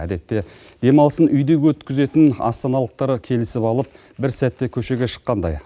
әдетте демалысын үйде өткізетін астаналықтар келісіп алып бір сәтте көшеге шыққандай